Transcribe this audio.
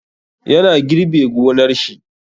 Ya na girbe gonar shi.